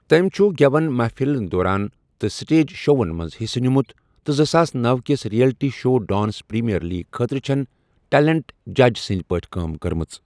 تٔمۍ چھُ گٮ۪وَن محفِل دورَن تہٕ سٹیج شووَن منٛز حِصہٕ نِمُت تہٕ زٕساس نوَ کِس reality show dance premier league خٲطرٕ چھٮ۪ن ٹیلنٹ جج سنٛدۍ پٲٹھۍ کٲم کٔرمٕژ۔